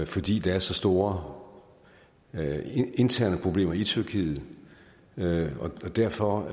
fordi der er så store interne problemer i tyrkiet og derfor